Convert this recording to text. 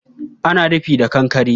Ana rufin da kankkre